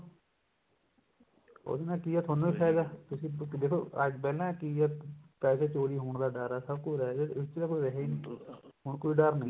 ਉਹਦੇ ਨਾਲ ਕੀ ਆ ਤੁਹਾਨੂੰ ਹੀ ਫਾਇਦਾ ਤੁਸੀਂ ਦੇਖੋ ਅੱਜ ਪਹਿਲਾਂ ਕਿ ਐ ਪੈਸੇ ਚੋਰੀ ਹੋਣ ਦਾ ਡਰ ਐ ਸਭ ਕੁੱਛ ਰਹਿ ਗਿਆ ਇਸ ਚ ਤਾਂ ਰਿਹਾ ਨੀ ਹੁਣ ਕੋਈ ਡਰ ਨਹੀਂ